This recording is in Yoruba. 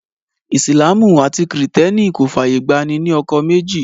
Ìsìlámù àti kìrìtẹ́nì kò fàyè gba ní ní ọkọ méjì